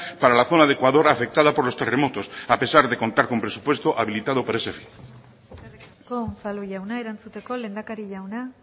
para la zona de ecuador afectada por los terremotos a pesar de contar con presupuesto habilitado para ese fin eskerrik asko unzalu jauna erantzuteko lehendakari jauna